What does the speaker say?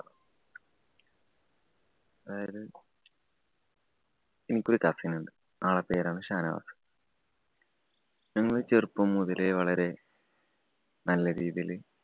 അതായത് എനിക്കൊരു cousin ഉണ്ട്. ആളുടെ പേരാണ് ഷാനവാസ്‌. ഞങ്ങള്‍ ചെറുപ്പം മുതലേ വളരെ നല്ലരീതിയില്